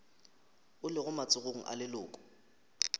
o lego matsogong a leloko